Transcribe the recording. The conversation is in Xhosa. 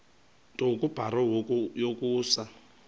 nto kubarrow yokusa